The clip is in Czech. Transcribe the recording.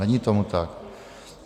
Není tomu tak.